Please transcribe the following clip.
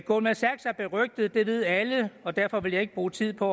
goldman sachs er berygtet det ved alle og derfor vil jeg ikke bruge tid på